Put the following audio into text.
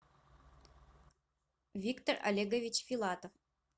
виктор олегович филатов